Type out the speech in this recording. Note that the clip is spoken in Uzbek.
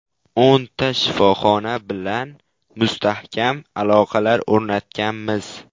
O‘nta shifoxona bilan mustahkam aloqalar o‘rnatganmiz.